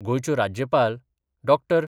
गोयच्यो राज्यपाल डॉ.